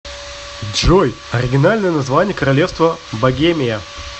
джой оригинальное название королевство богемия